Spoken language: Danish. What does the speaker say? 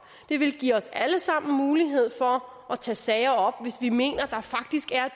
det vil give os alle sammen mulighed for at tage sager op hvis vi mener at der faktisk er